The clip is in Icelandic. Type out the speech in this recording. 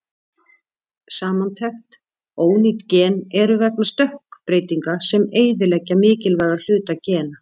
Samantekt: Ónýt gen eru vegna stökkbreytinga sem eyðileggja mikilvæga hluta gena.